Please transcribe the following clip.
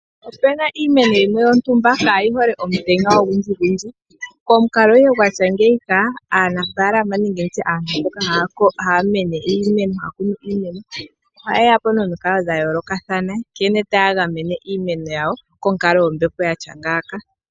Ope na iimeno yimwe yontumba kaa yi hole omutenya ogundjigundji. Komukalo gwa tya ngiika, aanafaalama nenge ndi tye aantu mboka haya kunu iimeno ohaye ya po nomikalo dha yoolokathana nkene taya gamene iimeno yawo konkalo yompepo yi li ngaaka.